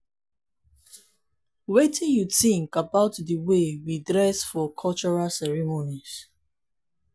wetin you think about di way we dress for cultural ceremonies?